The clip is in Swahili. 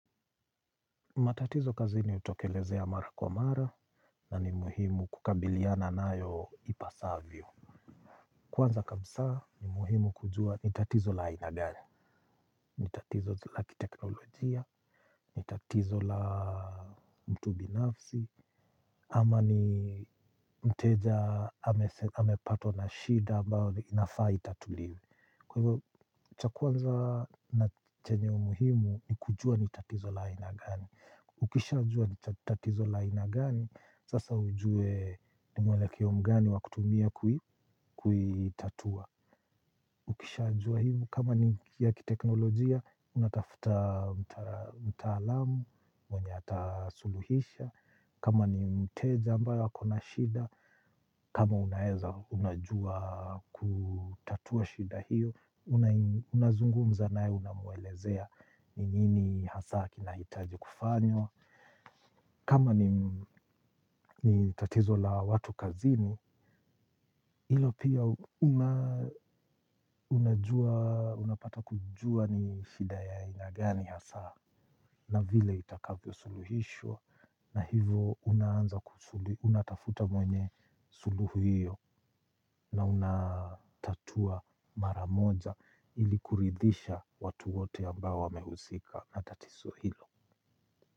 Matatizo kazini hutokelezea mara kwa mara na ni muhimu kukabiliana nayo ipasavyo. Kwanza kabisa ni muhimu kujua ni tatizo la aina gani. Ni tatizo la kiteknolojia ni tatizo la mtu binafsi ama ni mteja amepatwa na shida ambayo inafaa itatuliwe. Kwa hivyo cha kwanza na chenye umuhimu ni kujua ni tatizo la ina gani. Ukishajua tatizo la aina gani sasa ujue ni mwelekeo mgani wa kutumia kuitatua. Ukishajua hivo kama ni ya kiteknolojia unatafuta mtaalamu mwenye atasuluhisha. Kama ni mteja ambayo ako na shida kama unaeza unajua kutatua shida hiyo unazungumza naye unamwelezea ni nini hasa kina hitaji kufanywa. Kama ni tatizo la watu kazini ilo pia unapata kujua ni shida ya aina gani hasa na vile itakavyo suluhishwa na hivo unaanza unatafuta mwenye suluhu hiyo na una tatua mara moja ili kuridhisha watu wote ambao wamehusika na tatizo hilo.